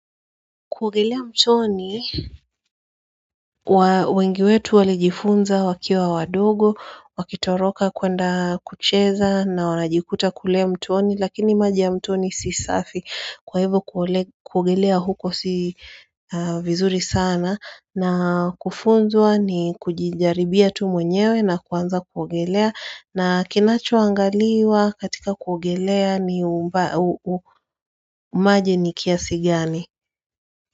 Kuogelea mtoni wengi wetu walijifunza wakiwa wadogo wakitoroka kwenda kucheza na wanajikuta kulea mtoni lakini maja ya mtoni si safi kuogelea huko si vizuri sana na kufunzwa ni kujijaribia tu mwenyewe na kuanza kuogelea na kinacho angaliwa katika kuogelea ni maji ni kiasi gani.